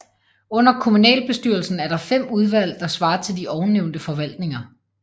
Under kommunalbestyrelsen er der 5 udvalg der svarer til de ovennævnte forvaltninger